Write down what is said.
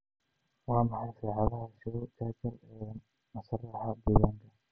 waa maxay saacadaha show Churchil ee masraxa deegaanka